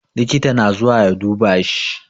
Likita na zuwa ya duba shi